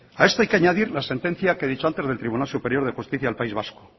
a esto hay que añadir la sentencia que he dicho antes del tribunal superior de justicia del país vasco